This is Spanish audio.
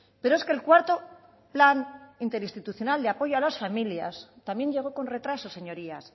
pero es que el cuarto plan interinstitucional de apoyo a las familias también llegó con retraso señorías